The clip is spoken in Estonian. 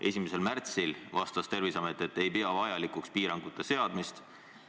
1. märtsil vastas Terviseamet, et ei pea vajalikuks piirangute seadmist.